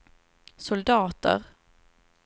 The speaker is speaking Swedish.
soldater